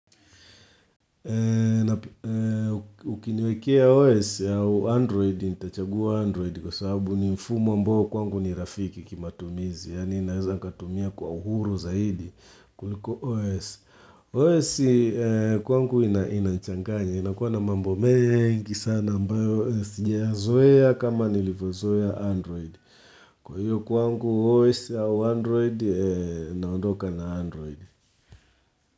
Ukiniwekea OS ya Android, nitachagua Android kwa sababu ni mfumo ambao kwangu ni rafiki kima tumizi. Yani naweza katumia kwa uhuru zaidi kuliko OS. OS kwangu ina nchanganya. Inakuwa na mambo mengi sana ambayo. Sijayazoeya kama nilivyo zoeya Android. Kwa hiyo kwangu OS au Android naondoka na Android.